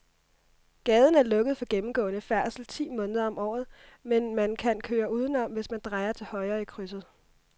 Gaden er lukket for gennemgående færdsel ti måneder om året, men man kan køre udenom, hvis man drejer til højre i krydset.